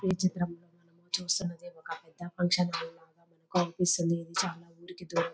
విచిత్రం చూస్తున్నది ఒక పెద్ద ఫంక్షన్ హాల్ లాగా అనిపిస్తుంది చాలా ఊరికి దూరంగా --